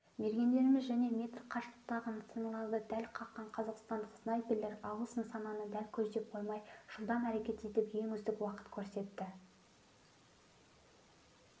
мергендеріміз және метр қашықтықтағы нысаналарды дәл қаққан қазақстандық снайперлер алыс нысананы дәл көздеп қоймай жылдам әрекет етіп ең үздік уақыт көрсетті